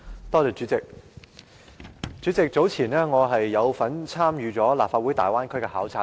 代理主席，早前我有份參與立法會粵港澳大灣區的考察團。